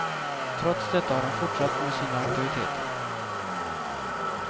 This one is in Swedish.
Trots detta har han fortsatt med sina aktiviteter.